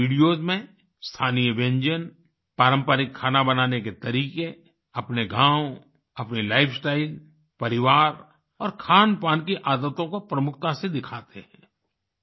वे अपने वीडियोस में स्थानीय व्यंजन पारंपरिक खाना बनाने के तरीके अपने गाँव अपनी लाइफस्टाइल परिवार और खानपान की आदतों को प्रमुखता से दिखाते हैं